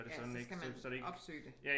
Ja så skal man opsøge det